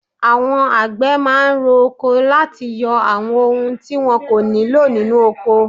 Àwọn àgbẹ̀ máà ń ro oko láti yọ àwọn ohun tí wọn kò nílò nínú ọkọ.